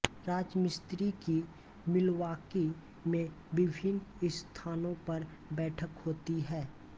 राजमिस्त्री की मिल्वॉकी में विभिन्न स्थानों पर बैठक होती है